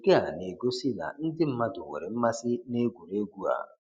Nke a na-egosi na ndị mmadụ nwere mmasị na egwuregwu a